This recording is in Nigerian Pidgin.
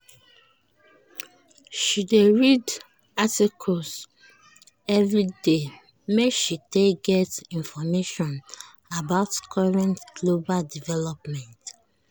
she dey read articles everyday make she take get information about current global development.